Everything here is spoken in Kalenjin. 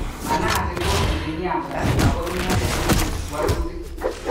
Manasi ko engineer kora ako inendet neibwech wolutik.